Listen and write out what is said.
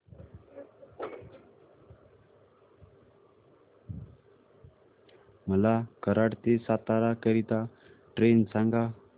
मला कराड ते सातारा करीता ट्रेन सांगा